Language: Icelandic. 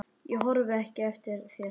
Ég horfi ekki eftir þér.